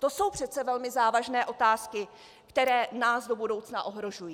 To jsou přece velmi závažné otázky, které nás do budoucna ohrožují.